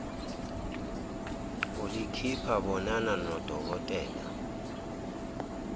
ulikhipha bonana dnodokotela